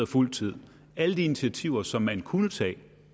fuld tid alle de initiativer som man kunne tage